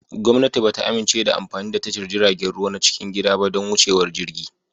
Gwamnati ba ta amince da amfani da tashar jiragen ruwa na cikin gida ba don wucewar jirgi